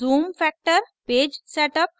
zoom factor page setup